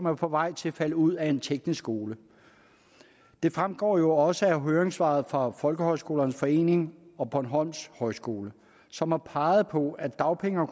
er på vej til at falde ud af en teknisk skole det fremgår jo også af høringssvaret fra folkehøjskolernes forening og bornholms højskole som har peget på at dagpenge